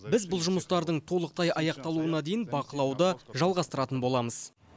біз бұл жұмыстардың толықтай аяқталуына дейін бақылауды жалғастыратын боламыз